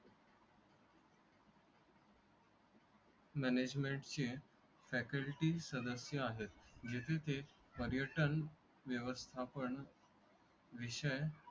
मॅनेजमेंटची faculty सदस्य आहेत जेथे ते पर्यटन व्यवस्थापन विषय